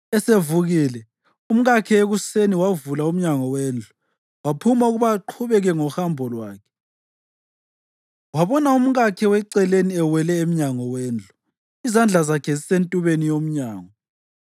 Esevukile umkakhe ekuseni, wavula umnyango wendlu waphuma ukuba aqhubeke ngohambo lwakhe, wabona umkakhe weceleni ewele emnyango wendlu, izandla zakhe zisentubeni yomnyango.